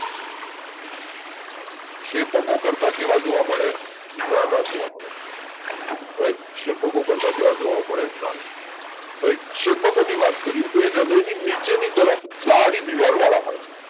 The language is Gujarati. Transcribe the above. શેપકો કરતા કેવા જોવા મળે નાના જોવા મળે રાઈટ. શેપકો કરતા કેવા જોવા મળે નાના રાઈટ શેપકો ની વાત કરીએ તો એ હૃદયની નીચે તરફ જાડી દીવાલ વાળા હોય છે